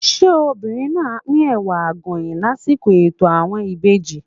Ṣé obìnrin náà á pín Ẹ̀wà Àgọ̀yìn lásìkò ètò àwọn ìbejì?